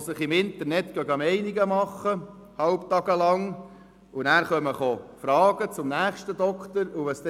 sich im Internet während eines halben Tages eine Meinung bildeten, ihm dann Fragen stellten und anschliessend zum nächsten Arzt gingen.